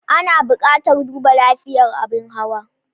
Ana buƙatar duba lafiyar abin hawa.